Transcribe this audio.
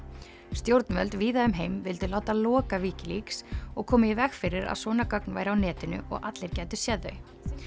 stjórnvöld víða um heim vildu láta loka Wikileaks og koma í veg fyrir að svona gögn væru á netinu og allir gætu séð þau